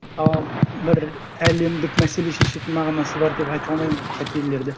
ал бір әлемдік мәселе шешетін мағынасы бар деп айта алмаймын ол қателерді